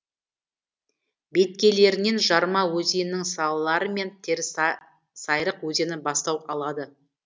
беткейлерінен жарма өзенінің салалары мен терісайрық өзені бастау алады